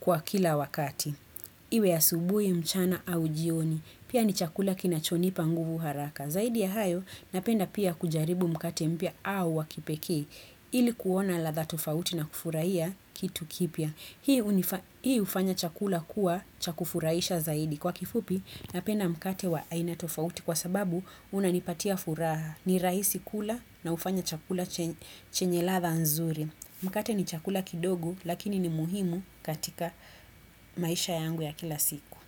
kwa kila wakati. Iwe asubuhi, mchana au jioni. Pia ni chakula kinachonipa nguvu haraka. Zaidi ya hayo napenda pia kujaribu mkate mpya au wakipekee ilikuona ladha tofauti na kufurahiya kitu kipya. Hii hufanya chakula kuwa chakufurahisha zaidi. Kwa kifupi napenda mkate wa aina tofauti kwa sababu unanipatia furaha. Ni rahisi kula na hufanya chakula chenye la ladha nzuri. Mkate ni chakula kidogo lakini ni muhimu katika maisha yangu ya kila siku.